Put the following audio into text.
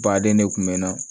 Baden ne kun bɛ na